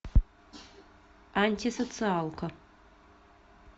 антисоциалка